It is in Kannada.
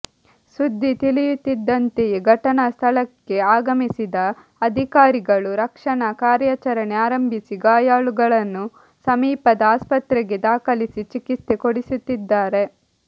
ಸುದ್ದಿ ತಿಳಿಯುತ್ತಿದ್ದಂತೆಯೇ ಘಟನಾ ಸ್ಥಳಕ್ಕೆ ಆಗಮಿಸಿದ ಅಧಿಕಾರಿಗಳು ರಕ್ಷಣಾ ಕಾರ್ಯಾಚರಣೆ ಆರಂಭಿಸಿ ಗಾಯಾಳುಗಳನ್ನು ಸಮೀಪದ ಆಸ್ಪತ್ರೆಗೆ ದಾಖಲಿಸಿ ಚಿಕಿತ್ಸೆ ಕೊಡಿಸುತ್ತಿದ್ದಾರೆ